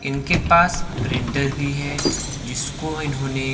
इनके पास प्रिंटर भी है जिसको इन्होंने--